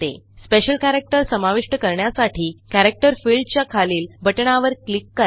special characterसमाविष्ट करण्यासाठी character fieldच्या खालील बटणावर क्लिक करा